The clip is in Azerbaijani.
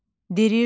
Dirijor.